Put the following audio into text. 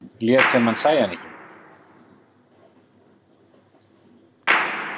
Lét sem hann sæi hana ekki.